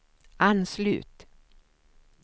anslut